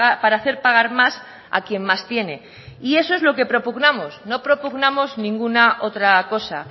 para hacer pagar más a quién más tiene y eso es lo que propugnamos no propugnamos ninguna otra cosa